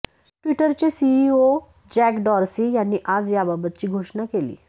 ट्विटरचे CEO Jack Dorsey यांनी आज याबाबतची घोषणा केली